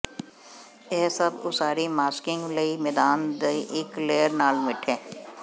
ਇਹ ਸਭ ਉਸਾਰੀ ਮਾਸਕਿੰਗ ਲਈ ਮੈਦਾਨ ਦੀ ਇੱਕ ਲੇਅਰ ਨਾਲ ਮਿੱਠੇ